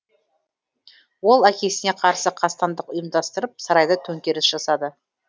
ол әкесіне қарсы қастандық ұйымдастырып сарайда төңкеріс жасады